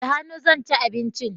Da hannu zan ci abinci